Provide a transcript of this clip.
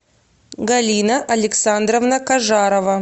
галина александровна кажарова